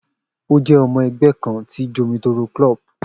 O je omo egbe kan ti Jomitoro club